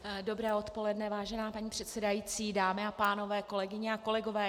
Dobré odpoledne, vážená paní předsedající, dámy a pánové, kolegyně a kolegové.